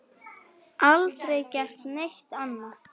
Aldrei gert neitt annað.